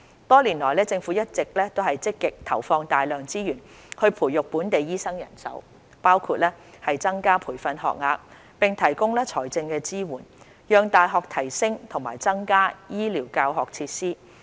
多年來，政府一直積極投放大量資源培育本地醫生人手，包括增加培訓學額，並提供財政支援，讓大學提升和增加醫療教學設施。